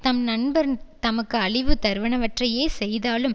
தம் நண்பர் தமக்கு அழிவு தருவனவற்றையே செய்தாலும்